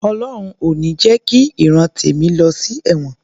Ọlọhun ò ní jẹ ki ìran tèmi lọ sí ẹ̀wọ̀n